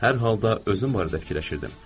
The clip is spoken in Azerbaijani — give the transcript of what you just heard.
Hər halda özüm barədə fikirləşirdim.